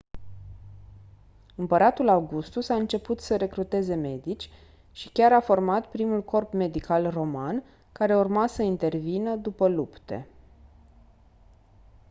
împăratul augustus a început să recruteze medici și chiar a format primul corp medical roman care urma să intervină după lupte